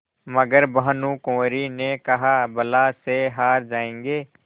मगर भानकुँवरि ने कहाबला से हार जाऍंगे